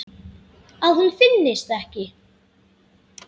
Að hún finnist ekki.